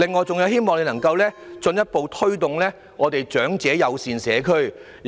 最後，希望政府能進一步推動長者友善社區。